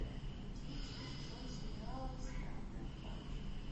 одиннадцатый сезон сериала странная парочка